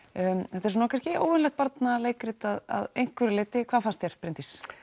þetta er svona kannski óvenjulegt barnaleikrit að einhverju leiti hvað fannst þér Bryndís